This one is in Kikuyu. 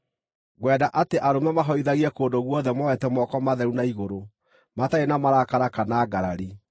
Ngwenda atĩ arũme mahoithagie kũndũ guothe moete moko matheru na igũrũ, matarĩ na marakara kana ngarari.